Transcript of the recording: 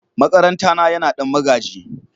makaranta na Yana Dan magaji.